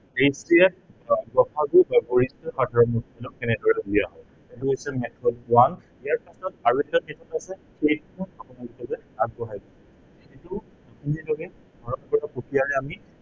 HCF বা গ সা গু বা গৰিষ্ঠ সাধাৰণ গুণিতক কেনেদৰে উলিয়াম। এইটো হৈছে method one ইয়াৰ পিছত আৰু এটা method হৈছে সেইটো আপোনালোকলৈ আগবঢ়াইছো। সেইটো আন এটা প্ৰক্ৰিয়াৰে আমি